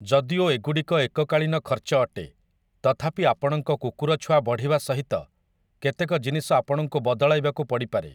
ଯଦିଓ ଏଗୁଡ଼ିକ ଏକକାଳୀନ ଖର୍ଚ୍ଚ ଅଟେ, ତଥାପି ଆପଣଙ୍କ କୁକୁରଛୁଆ ବଢ଼ିବା ସହିତ କେତେକ ଜିନିଷ ଆପଣଙ୍କୁ ବଦଳାଇବାକୁ ପଡ଼ିପାରେ ।